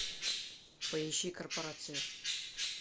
поищи корпорация